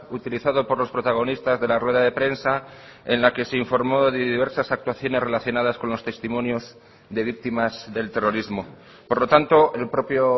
utilizado por los protagonistas de la rueda de prensa en la que se informó de diversas actuaciones relacionadas con los testimonios de víctimas del terrorismo por lo tanto el propio